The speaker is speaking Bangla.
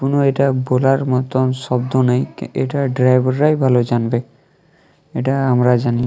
কোন এটা বোলার মতন শব্দ নেই। এটার ড্রাইভার রাই ভালো জানবে। এটা আমরা জানি।